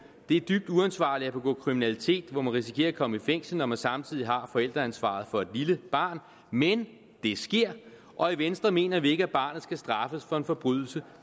det er dybt uansvarligt at begå kriminalitet hvor man risikerer at komme i fængsel når man samtidig har forældreansvaret for et lille barn men det sker og i venstre mener vi ikke at barnet skal straffes for en forbrydelse